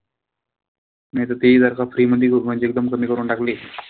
नाई त ते हि जर का free मधी म्हणजे एकदम कमी करून टाकली,